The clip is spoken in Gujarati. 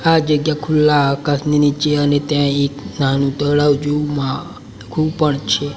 આ જગ્યા ખુલ્લા આકાશની નીચે અને ત્યાં એક નાનું તળાવ જેવું મા કુવું પણ છે.